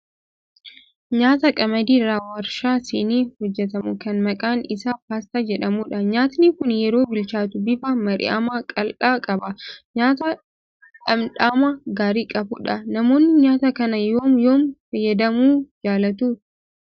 Nyaata qamadii irraa waarshaa seenee hojjetamu, kan maqaan isaa paastaa jedhamudha. Nyaatni kun yeroo bilchaatu bifa mar'immaan qal'aa qaba. Nyaata dhamdhama gaarii qabudha. Namoonni nyaata kana yoom yoom fayyadamuu jaalatu?